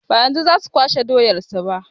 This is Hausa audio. Ba yanzu za su kwashe doyar su ba.